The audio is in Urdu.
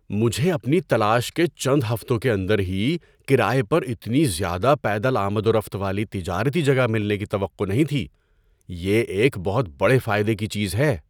مجھے اپنی تلاش کے چند ہفتوں کے اندر ہی کرایے پر اتنی زیادہ پیدل آمد و رفت والی تجارتی جگہ ملنے کی توقع نہیں تھی – یہ ایک بہت بڑے فائدے کی چیز ہے۔